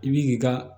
I b'i k'i ka